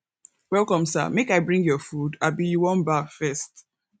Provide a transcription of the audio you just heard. welcome sir make i bring your food abi you wan baff first